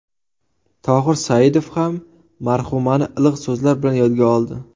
Tohir Saidov ham marhumani iliq so‘zlar bilan yodga oldi.